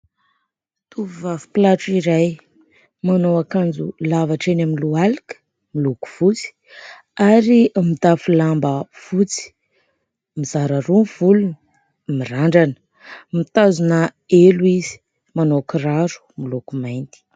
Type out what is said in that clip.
Tovovavy mpilatro iray manao akanjo lava hatreny amin'ny lohalika , miloko fotsy ary mitafy lamba fotsy . Mizara roa ny volony , mirandrana , mitazona elo izy, manao kiraro miloko mainty .